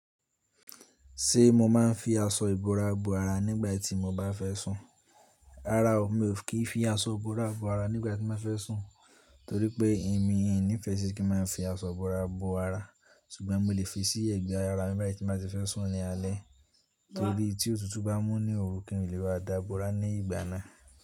Ṣé mo máa ń fi aṣọ ìbora bo ara nígbà tí mo bá fẹ́ sùn? Rárá o, mi ò kí ń fi aṣọ ìbora bo ara nígbà tí mo ba fẹ́ sùn, torí pé èmi ò ní ìfẹ́ ṣi kí n máa fi aṣọ ìbora bo ara. Ṣùgbọ́n mo lè fi sí ẹ̀gbẹ́ ara mi bayì tí mo bá ti fẹ́ sùn ní alẹ́, torí tí òtútù bá mú ní òru, kí n lè bá dá bora ní ìgbà náà.